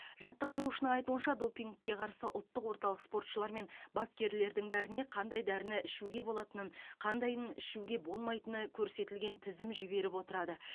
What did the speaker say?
жаттықтырушының айтуынша допингке қарсы ұлттық орталық спортшылар мен бапкерлердің бәріне қандай дәріні ішуге болатынын қандайын ішуге болмайтыны көрсетілген тізім жіберіп отырады